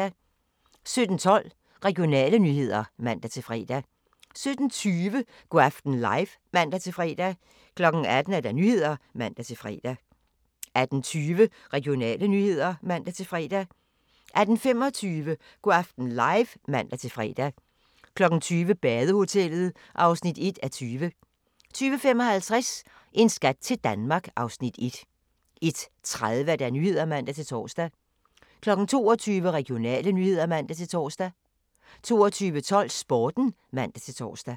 17:12: Regionale nyheder (man-fre) 17:20: Go' aften live (man-fre) 18:00: Nyhederne (man-fre) 18:20: Regionale nyheder (man-fre) 18:25: Go' aften live (man-fre) 20:00: Badehotellet (1:20) 20:55: En skat til Danmark (Afs. 1) 21:30: Nyhederne (man-tor) 22:00: Regionale nyheder (man-tor) 22:12: Sporten (man-tor)